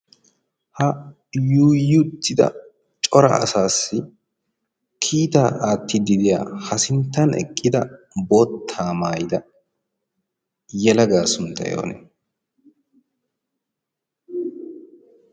ha yuyuttida cora asaassi kiitaa aattidi diya ha sinttan eqqida boottaa maayida yalagaa sunttai onee?